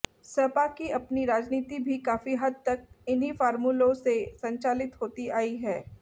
सपा की अपनी राजनीति भी काफी हद तक इन्हीं फार्मूलों से संचालित होती आई है